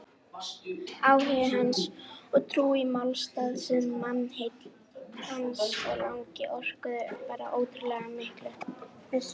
Áhugi hans og trú á málstað sinn, mannheill hans og lagni orkuðu þar ótrúlega miklu.